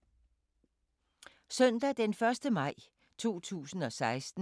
Søndag d. 1. maj 2016